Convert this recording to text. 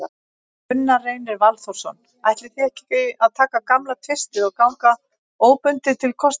Gunnar Reynir Valþórsson: Ætlið þið að taka gamla tvistið og ganga óbundið til kosninga?